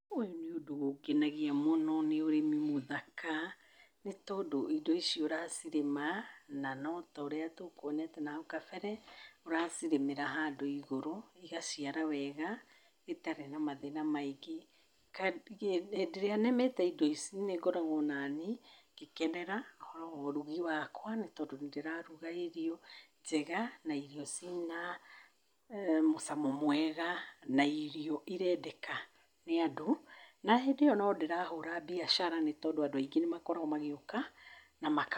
ũyũ nĩũndũ ũngenagia mũno, nĩ ũrĩmi mũthaka, nĩ tondũ indo icio ũracirĩma, no na ta ũrĩa tũkwonete na hau kabere, ũracirĩmĩra handũ igũrũ igaciara wega itarĩ na mathĩna maingĩ. Kaingĩ, hĩndĩ ĩrĩa nĩmĩte indo ici nĩngoragwo naniĩ ngĩkenera ũrugi wakwa, nĩ tondũ nĩndĩraruga irio njega na irio ina mũcamo mwega na irio irendeka nĩ andũ, na hĩndĩ ĩyo no ndĩrahũra mbiacara na nĩ tondũ andũ aingĩ nĩmakoragwo magĩũka na makagũra.